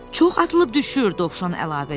Çox atılıb-düşür, Dovşan əlavə elədi.